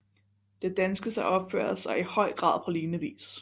Det danske sig opfører sig i høj grad på lignende vis